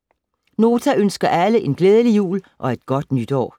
Nota ønsker alle en glædelig jul og et godt nytår.